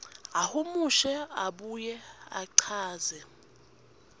ahumushe abuye achaze